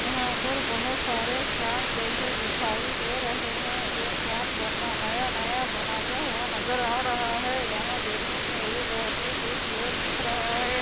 यहाँ पर बहुत सारे फैन जैसे दिखाई दे रहे है या फैन बना नया - नया बनता हुआ नज़र आ रहा है यहाँ देखने मै ये बहुत ही खूबसूरत दिख रहा है।